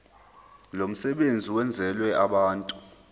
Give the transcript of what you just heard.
lomsebenzi wenzelwe abantu